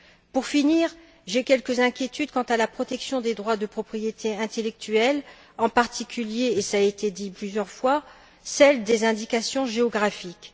Pour finir, j'ai quelques inquiétudes quant à la protection des droits de propriété intellectuelle, en particulier et cela a été dit plusieurs fois celle des indications géographiques.